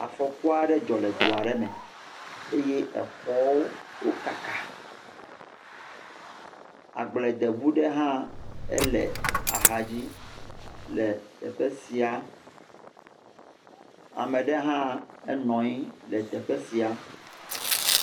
Afɔku aɖe dzɔ le du aɖe me eye xɔwo kaka. Agbledeŋu ɖe hã le axadzi le teƒe sia. Ame aɖe hã nɔ anyi ɖe teƒe sia.